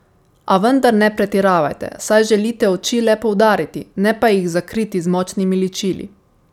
A vendar ne pretiravajte, saj želite oči le poudariti, ne pa jih zakriti z močnimi ličili.